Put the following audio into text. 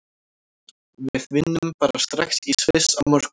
Við vinnum bara strax í Sviss á morgun.